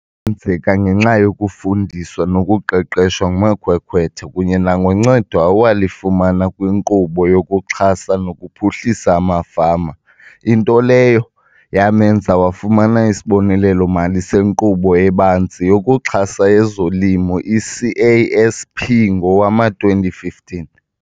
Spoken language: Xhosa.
Kwenzeka ngenxa yokufundiswa nokuqeqeshwa ngumakhwekhwetha kunye nangoncedo awalifumana kwiNkqubo yokuXhasa nokuPhuhlisa amaFama, into leyo yamenza wafumana isibonelelo-mali seNkqubo eBanzi yokuXhasa ezoLimo, i-CASP, ngowama-2015.